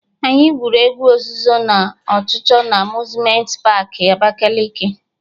Anyị gwụrụ egwu ozuzo na ọchụchọ na Amuzmenti paakị Abakaliki